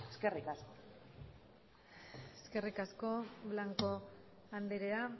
eskerrik asko eskerrik asko blanco andrea